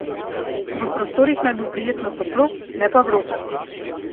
V prostorih naj bo prijetno toplo, ne pa vroče.